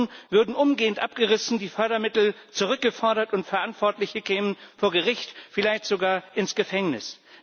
Diese Bauten würden umgehend abgerissen, die Fördermittel zurückgefordert und Verantwortliche kämen vor Gericht, vielleicht sogar ins Gefängnis.